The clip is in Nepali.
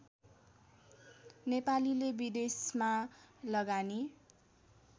नेपालीले विदेशमा लगानी